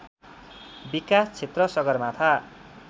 विकास क्षेत्र सगरमाथा